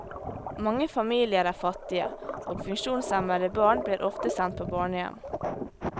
Mange familier er fattige, og funksjonshemmede barn blir ofte sendt på barnehjem.